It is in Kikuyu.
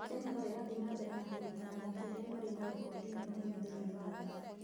Kenya no ĩrathiĩ na mbere na kũruta athaki arĩa marĩ na rekondi nene mũno thĩinĩ wa thĩ.